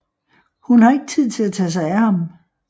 Hun har ikke tid til at tage sig af ham